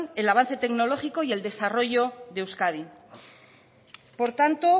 el avance tecnológico y el desarrollo de euskadi por tanto